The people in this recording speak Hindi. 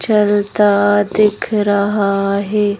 चलता दिख रहा है।